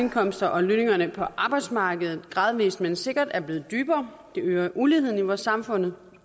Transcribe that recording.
indkomster og lønningerne på arbejdsmarkedet gradvist men sikkert er blevet dybere det øger uligheden i vores samfund